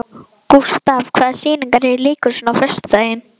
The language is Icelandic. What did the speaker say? Gustav, hvaða sýningar eru í leikhúsinu á föstudaginn?